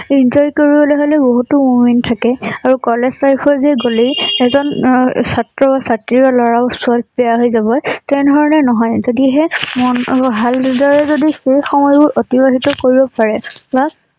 enjoy কৰিবলৈ হলে বহুতো moment থাকে আৰু কলেজ life ৰ যে গলেই এজন অ ছাত্ৰ বা ছাত্ৰী বা লৰা বা ছোৱালী বেয়া হৈ যাব তেনে ধৰণে নহয়। যদিহে মম আৰু ভাল নিজৰে যদি সেই সময়বোৰ অতিবাহিত কৰিব পাৰে বা